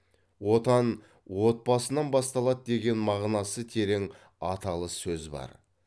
отан отбасынан басталады деген мағынасы терең аталы сөз бар